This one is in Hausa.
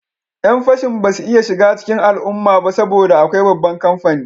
Yan fashin ba su iya shiga cikin al'umma ba saboda akwai babban kamfani